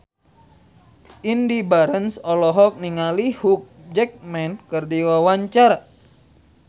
Indy Barens olohok ningali Hugh Jackman keur diwawancara